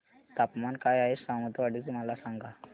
तापमान काय आहे सावंतवाडी चे मला सांगा